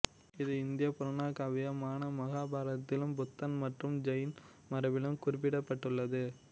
இது இந்திய புராணகாவியமான மகாபாரதத்திலும் புத்த மற்றும் ஜெயின் மரபிலும் குறிப்பிடப்பட்டுள்ளது